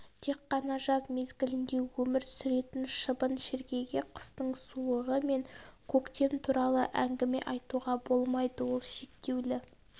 тек қана жаз мезгілінде өмір сүретін шыбын шіркейге қыстың суығы мен көктем туралы әңгіме айтуға болмайды ол шектеулі